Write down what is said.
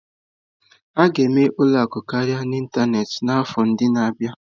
A ga-eme ụlọ akụ karịa n'ịntanetị n'afọ ndị na-abịa.